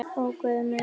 Ó Guð minn.